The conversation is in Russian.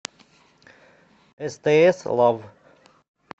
стс лав